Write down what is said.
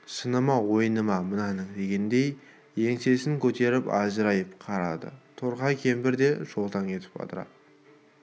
шыны ма ойыны ма мынаның дегендей еңсесін көтеріп ажырайып қарады торқа кемпір де шолтаң етіп адыра